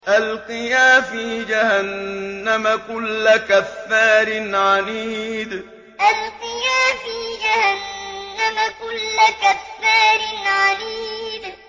أَلْقِيَا فِي جَهَنَّمَ كُلَّ كَفَّارٍ عَنِيدٍ أَلْقِيَا فِي جَهَنَّمَ كُلَّ كَفَّارٍ عَنِيدٍ